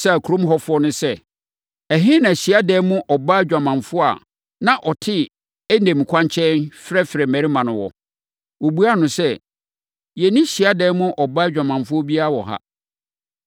bisaa kurom hɔfoɔ no sɛ, “Ɛhe na hyiadan mu ɔbaa odwamanfoɔ a na ɔte Enaim kwankyɛn frɛfrɛ mmarima no wɔ?” Wɔbuaa no sɛ, “Yɛnni hyiadan mu ɔbaa odwamanfoɔ biara wɔ ha.”